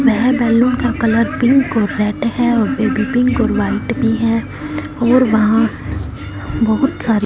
वह बैलून का colour pink और रेड है और में बी पिंक और व्हाइट भी है और वहां बहुत सारे --